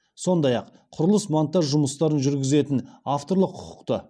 сондай ақ құрылыс монтаж жұмыстарын жүргізетін авторлық құқықты